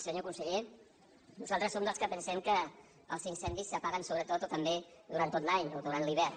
senyor conseller no·saltres som dels que pensem que els incendis s’apaguen sobretot o també durant tot l’any o durant l’hivern